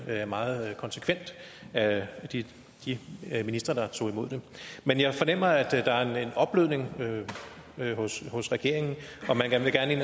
meget konsekvent af de ministre der tog imod det men jeg fornemmer at der er en opblødning hos regeringen